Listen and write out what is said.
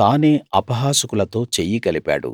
తానే అపహాసకులతో చెయ్యి కలిపాడు